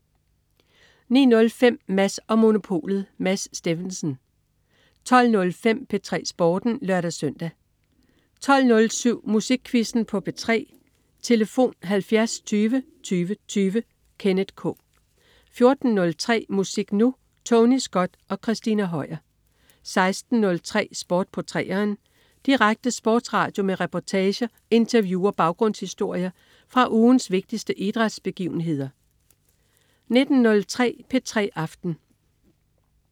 09.05 Mads & Monopolet. Mads Steffensen 12.05 P3 Sporten (lør-søn) 12.07 Musikquizzen på P3. Tlf.: 70 20 20 20. Kenneth K 14.03 Musik Nu! Tony Scott og Christina Høier 16.03 Sport på 3'eren. Direkte sportsradio med reportager, interview og baggrundshistorier fra ugens vigtigste idrætsbegivenheder 19.03 P3 aften